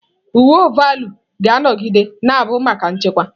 Uwe ọvaọlụ ga-anọgide na-abụ maka nchekwa